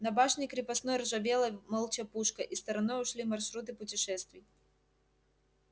на башне крепостной ржавела молча пушка и стороной ушли маршруты путешествий